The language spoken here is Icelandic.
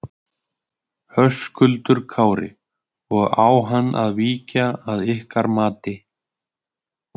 Höskuldur Kári: Og á hann að víkja að ykkar mati?